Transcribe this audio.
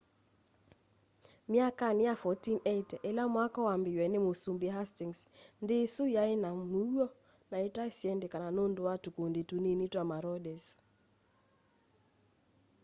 myakanĩ ya 1480 ĩla mwako wambĩĩĩwye nĩ mũsũmbĩ hastĩngs nthĩ ĩsũ yaĩna mũũo na ita syendekana nũndũ wa tũkũndĩ tũnĩnĩ twa maraũders